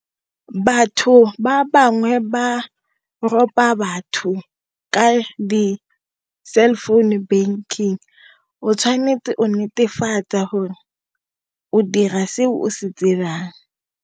Batho ba bangwe ba ropa batho ka-di cell phone banking, o tshwanetse o netefatsa gore o dira seo o se tsebang.